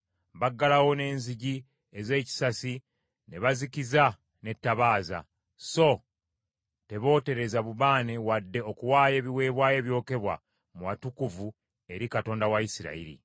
Baggalawo n’enzigi ez’ekisasi ne bazikiza n’ettabaaza, so tebootereza bubaane wadde okuwaayo ebiweebwayo ebyokebwa mu watukuvu eri Katonda wa Isirayiri.